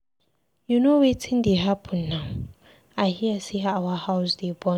You know wetin dey happen now, I hear say our house dey burn.